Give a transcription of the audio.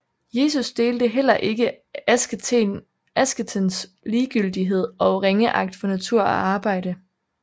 Jesus delte heller ikke asketens ligegyldighed og ringeagt for natur og arbejde